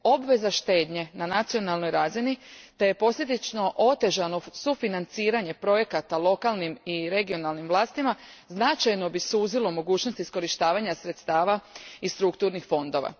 Obveza štednje na nacionalnoj razini te posljedično otežano sufinanciranje projekata lokalnim i regionalnim vlastima značajno bi suzilo mogućnost iskorištavanja sredstava iz strukturnih fondova.